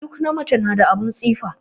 Duk na mace na da abun tsifa